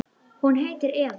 Hún heitir Eva.